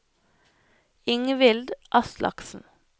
Ingvild Aslaksen